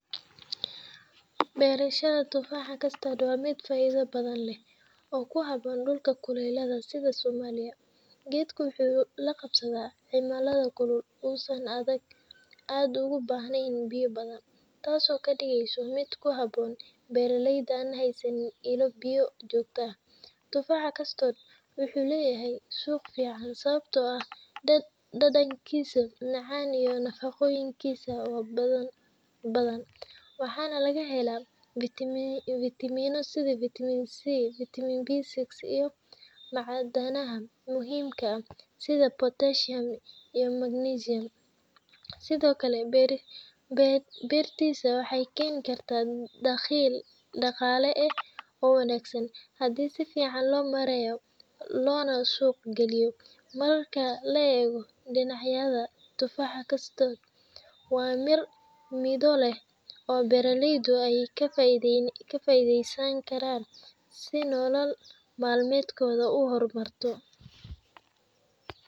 Beerashada tufaaxa custard waa mid faa’iido badan leh oo ku habboon dhulalka kulaylaha sida Soomaaliya. Geedkan wuxuu la qabsadaa cimilada kulul oo uusan aad ugu baahnayn biyo badan, taasoo ka dhigaysa mid ku habboon beeralayda aan haysan ilo biyo joogto ah. Tufaaxa custard wuxuu leeyahay suuq fiican sababtoo ah dhadhankiisa macaan iyo nafaqooyinkiisa badan. Waxaa laga helaa fitamiinno sida Vitamin C, B6, iyo macdanaha muhiimka ah sida potassium iyo magnesium. Sidoo kale, beertiisa waxay keeni kartaa dakhli dhaqaale oo wanaagsan haddii si fiican loo maareeyo loona suuq geeyo. Marka la eego dhinacyadan, tufaaxa custard waa mir midho leh oo beeraleydu ay ka faa’iidaysan karaan si nolol maalmeedkooda u horumarto.